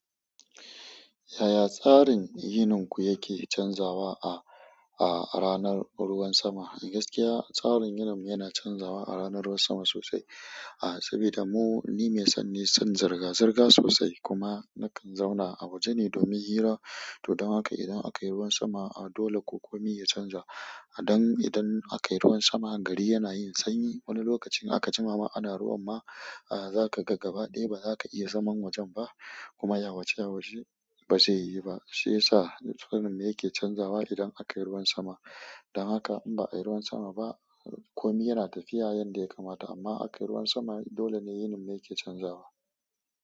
Yaya tsarin yininku yake canzawa a, a ranar ruwan sama? Gaskiya tsarin yininmu yana canzawa a ranar ruwan sama sosai. A, saboda mu, ni mai sanyi, son zirga-zirga sosai kuma nakan zauna a waje ne domin hira. To don haka idan aka yi ruwan sama, a dole ko kome ya canza. Don idan aka yi ruwan sama, gari yana yin sanyi. Wani lokacin aka ji ma ma ana ruwan ma, a zaka ga gabaɗaya ba za ka iya zaman wajen ba kuma yawce yawce ba zai yi ba. Shi ya sa wannan me yake canzawa idan aka yi ruwan sama. Don haka in ba a yi ruwan sama ba, komai yana tafiya yanda ya kamata amma aka yi ruwan sama, dole ne yininmu yake canzawa.